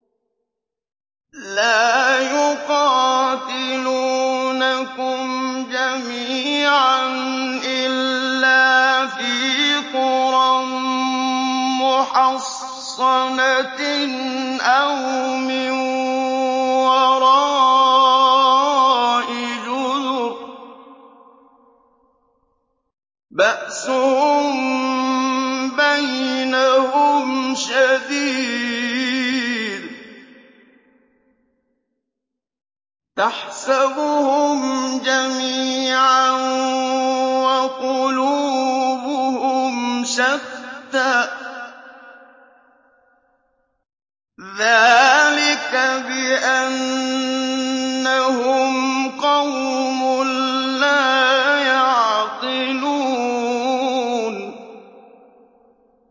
لَا يُقَاتِلُونَكُمْ جَمِيعًا إِلَّا فِي قُرًى مُّحَصَّنَةٍ أَوْ مِن وَرَاءِ جُدُرٍ ۚ بَأْسُهُم بَيْنَهُمْ شَدِيدٌ ۚ تَحْسَبُهُمْ جَمِيعًا وَقُلُوبُهُمْ شَتَّىٰ ۚ ذَٰلِكَ بِأَنَّهُمْ قَوْمٌ لَّا يَعْقِلُونَ